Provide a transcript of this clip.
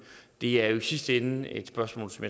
det er jo i sidste ende et spørgsmål som